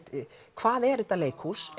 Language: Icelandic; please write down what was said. hvað er þetta leikhús